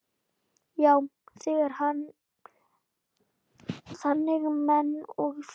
Já, þannig man ég þig.